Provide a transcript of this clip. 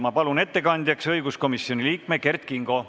Ma palun ettekandjaks õiguskomisjoni liikme Kert Kingo.